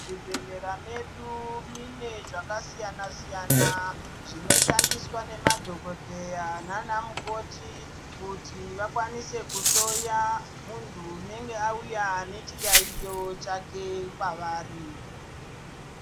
Zvibhedhlera medu mune zvakasiyana siyana zvinoshandiswa nemadhokodheya nana mukotikuti vakwanise kuhloya munhu unenge auya nechiyaiyo chake kwaari.